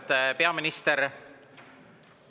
Auväärt peaminister!